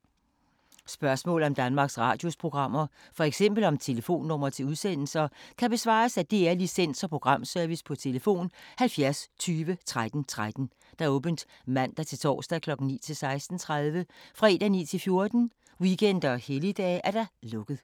Spørgsmål om Danmarks Radios programmer, f.eks. om telefonnumre til udsendelser, kan besvares af DR Licens- og Programservice: tlf. 70 20 13 13, åbent mandag-torsdag 9.00-16.30, fredag 9.00-14.00, weekender og helligdage: lukket.